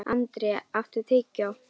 André, áttu tyggjó?